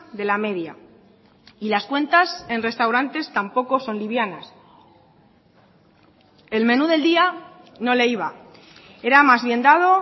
de la media y las cuentas en restaurantes tampoco son livianas el menú del día no le iba era más bien dado